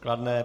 Kladné.